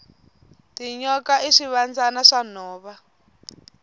tinyoka i swivandzana swa nhova